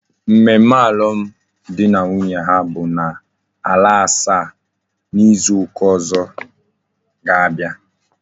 Mmemme alum di na nwunye ha bu na ala asaa na izu uka ozo I ga abia?